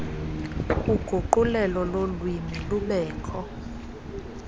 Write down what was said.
uguqulelo lolwimi lubekho